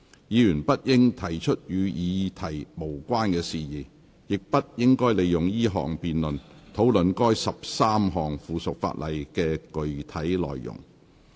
議員不應提出與議題無關的事宜，亦不應利用這項辯論，討論該13項附屬法例的具體內容。